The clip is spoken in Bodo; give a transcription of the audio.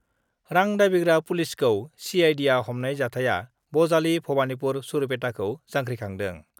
रां दाबिग्रा पुलिसखौ सिआइडिआ हमनाय जाथाया बजालि-भबानिपुर-सरुपेटाखौ जांख्रिखांदों